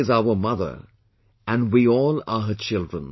The Earth is our mother and we all are her children